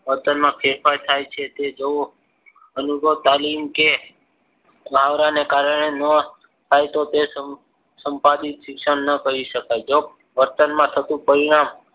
વર્તનમાં ફેરફાર થાય છે. તે જુઓ અનુભવ તાલીમ કે મુહાવરાને કારણે થાય તો તે સંપાદિત શિક્ષણ કહી શકાય. વર્તનમાં થતું પરિણામ